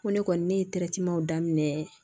Ko ne kɔni ne ye daminɛ